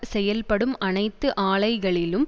செயல்படும் அனைத்து ஆலைகளிலும்